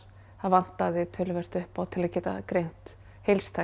það vantaði töluvert upp á til að geta greint